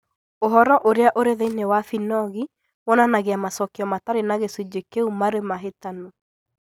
Ũhoro ũrĩa ũrĩ thĩinĩ wa Binogi wonanagia macokio matarĩ na gĩcunjĩ kĩu marĩ mahĩtanu.